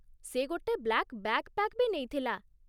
ସେ ଗୋଟେ black backpack ବି ନେଇଥିଲା ।